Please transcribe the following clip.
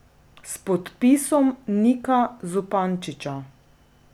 S podpisom Nika Zupančiča.